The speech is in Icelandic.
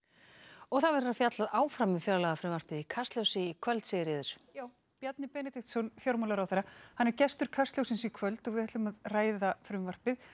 og það verður fjallað áfram um fjárlagafrumvarpið í Kastljósi í kvöld Sigríður já Bjarni Benediktsson fjármálaráðherra er gestur Kastljóssins í kvöld við ætlum að ræða frumvarpið